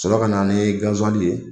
Sɔrɔla ka na ni gasiwali ye